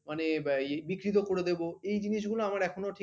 মানে ইয়ে বিকৃত করে দেব এই জিনিসগুলো আমার এখনো ঠিক